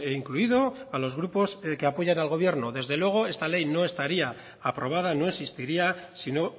incluido a los grupos el que apoyan al gobierno desde luego esta ley no estaría aprobada no existiría si no